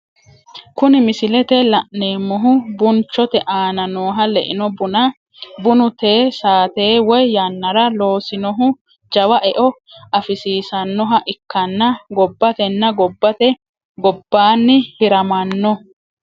Kuni misilete la'neemohu Bunchote aana nooha leino bunna, bunu te saatenni woyi yannara loosinohu jawa e'o afisisanohha ikkanna gobatenna gobate gobbanni hiramanno